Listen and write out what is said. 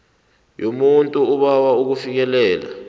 yomuntu obawa ukufikelela